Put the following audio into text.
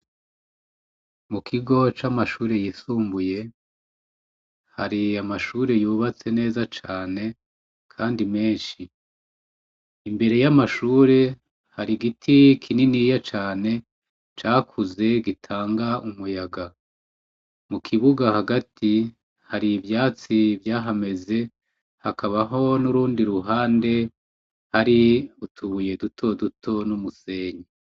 Mu kigo c'amashure yisumbuye hariye amashure yubatse neza cane, kandi menshi imbere y'amashure hari igiti kininiya cane cakuze gitanga umuyaga mu kibuga hagati hari ivyo atsi vyahameze hakabaho n'urundi ruhande hari utubuye duto duto n'umusenyi.